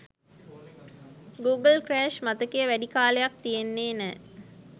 Google crash මතකය වැඩි කාලයක් තියෙන්නේ නෑ.